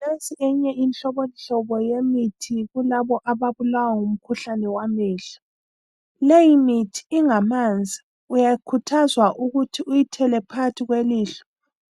Nansi eminye imihlobohlobo yemithi kulabo ababulawa ngumkhuhlane wamehlo. Leyimithi ingamanzi. Uyakhuthazwa ukuthi ukuyithela phakathi kwelihlo,